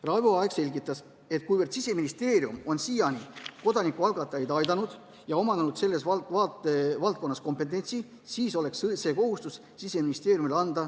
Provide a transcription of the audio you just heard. Raivo Aeg selgitas, et kuivõrd Siseministeerium on siiani kodanikualgatajaid aidanud ja omandanud selles valdkonnas kompetentsuse, siis oleks õige anda ka see kohustus ministeeriumile.